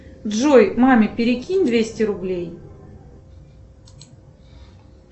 джой маме перекинь двести рублей